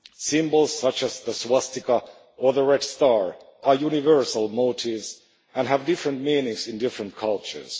Symbols such the swastika or the red star are universal motifs and have different meanings in different cultures.